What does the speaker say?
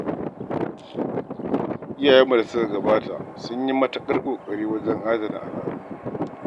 Iyayenmu da suka gabata sun yi matuƙar ƙoƙari wajen adana al'adu.